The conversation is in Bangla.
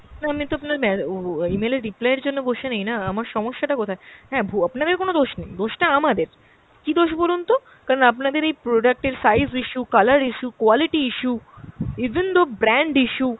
তো আমি তো আপনার ম্যা~ ও email এর reply এর জন্য বসে নেই না, আমার সমস্যাটা কোথায়! হ্যাঁ ভু~ আপনাদের কোনো দোষ নেই, দোষটা আমাদের। কী দোষ বলুন তো? কারণ আপনাদের এই product এর size issue, colour issue, quality issue, even though brand issue,